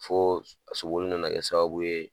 Fo sogo nana kɛ sababu ye